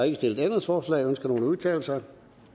ikke stillet ændringsforslag ønsker nogen at udtale sig